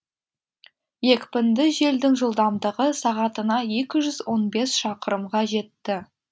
екпінді желдің жылдамдығы сағатына екі жүз он бес шақырымға жетті